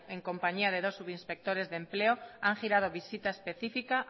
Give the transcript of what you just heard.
en compañía de dos subinspectores de empleo han girado visita específica